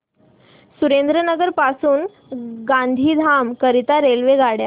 सुरेंद्रनगर पासून गांधीधाम करीता रेल्वेगाड्या